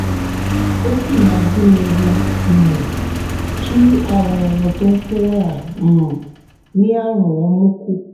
ó sì máa dín ewu um kí àwọn ẹran tó fún wàrà um ní àrùn ọmú kù